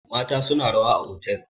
mata suna rawa a otal